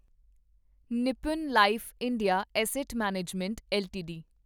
Nippon life India asset management LTD